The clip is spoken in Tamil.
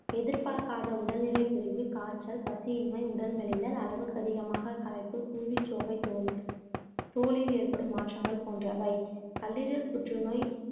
எதிர்பார்க்காத உடல்நிறைக் குறைவு, காய்ச்சல், பசியின்மை, உடல் மெலிதல், அளவுக்கதிகமாக களைப்பு, குருதிச்சோகை, தோல் தோலில் ஏற்படும் மாற்றங்கள் போன்றவை கல்லீரல் புற்றுநோய்